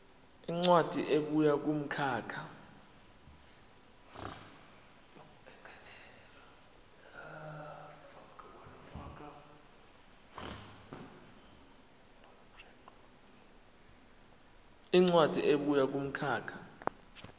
incwadi ebuya kumkhakha